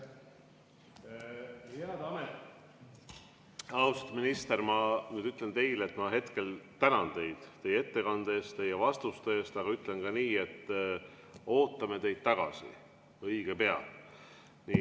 Austatud minister, ma ütlen teile, et praegu tänan teid teie ettekande eest ja vastuste eest, aga ütlen ka nii, et ootame teid tagasi õige pea.